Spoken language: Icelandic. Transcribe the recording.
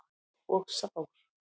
Og sár.